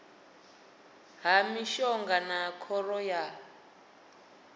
ha mishonga na khoro ya